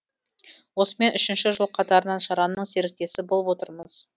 осымен үшінші жыл қатарынан шараның серіктесі болып отырмыз